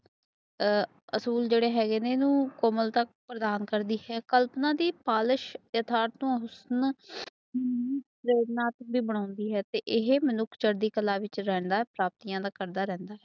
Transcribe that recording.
ਆ ਅਸੂਲ ਜੜੇ ਹੈਗੇ ਨੇ ਕੋਮਲਤਾ ਪ੍ਰਦਾਨ ਕਰਤੀ ਹੈ ਕਲਪਨਾ ਦੀ ਪਾਲਿਸ਼ ਨਾਥ ਬੀ ਬਣਦੇ ਨੇ ਇਹ ਚੜਦੀ ਕਾਲਾ ਵਿੱਚ ਰਹਦਾ ਹੈ ਤੇ ਬਾਕੀਆਂ ਦਾ ਕਰਦਾ ਰਿਹੰਦਾ